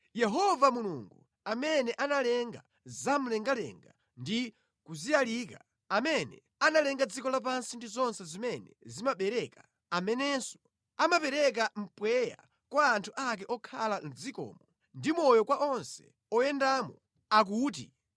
Yehova Mulungu amene analenga zamlengalenga ndi kuziyalika, amene analenga dziko lapansi ndi zonse zimene zimabereka, amenenso amapereka mpweya kwa anthu ake okhala mʼdzikomo, ndi moyo kwa onse oyendamo, akuti,